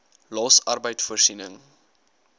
los arbeid voorsiening